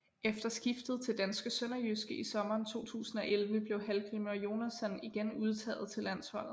Efter skiftet til danske SønderjyskE i sommeren 2011 blev Hallgrímur Jónasson igen udtaget til landsholdet